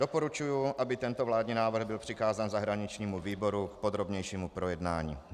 Doporučuji, aby tento vládní návrh byl přikázán zahraničnímu výboru k podrobnějšímu projednání.